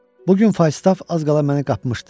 Bu gün Faustov az qala məni qapmışdı.